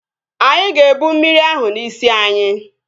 Anyị ga-ebụ mmiri ahụ n'isi anyị